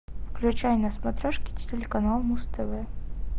включай на смотрешке телеканал муз тв